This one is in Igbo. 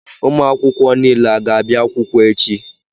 Ụmụ akwụkwọ niile a ga-abịa akwụkwọ echi.